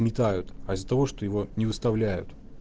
метают а из-за того что его не выставляют